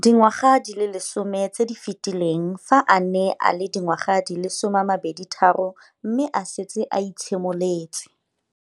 Dingwaga di le 10 tse di fetileng, fa a ne a le dingwaga di le 23 mme a setse a itshimoletse.